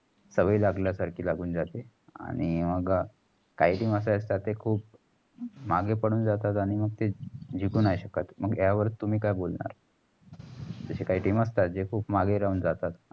सवय लागल्या सारख लागून जाते आणि मग काही team असे असतात. ते खूप मागे पडून जातात आणि ते जिंकू नाही शकत. मग या वर तुमी काय बोलणारं? तस काय team असतात जे माग राहून जातात.